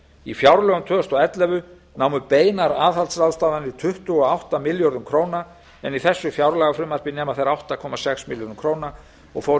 í fjárlögum tvö þúsund og ellefu námu beinar aðhaldsráðstafanir tuttugu og átta milljörðum króna en í þessu fjárlagafrumvarpi nema þær átta komma sex milljörðum króna og ég fór